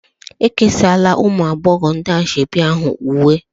E kesaala ụmụ agbọghọ ndị ashebi ahụ uwe